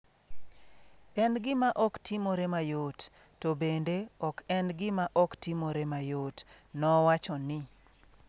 En gima ok timore mayot: to bende ok en gima ok timore mayot, nowacho ni.